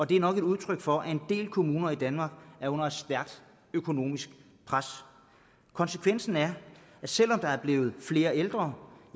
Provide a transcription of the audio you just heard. det er nok et udtryk for at en del kommuner i danmark er under et stærkt økonomisk pres konsekvensen er at selv om der er blevet flere ældre